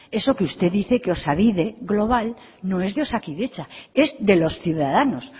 eso que usted dice que osabide global no es de osakidetza es de los ciudadanos